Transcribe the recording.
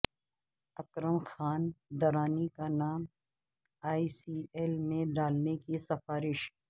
اکرم خان درانی کا نام E C L میں ڈالنے کی سفارش